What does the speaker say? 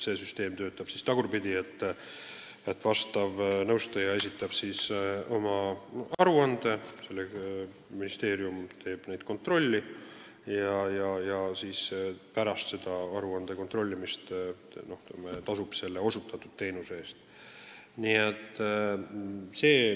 See süsteem töötab tagurpidi: nõustaja esitab oma aruanded, ministeerium kontrollib kõike ja pärast aruande kontrollimist tasub osutatud teenuste eest.